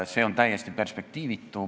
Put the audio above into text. See on täiesti perspektiivitu.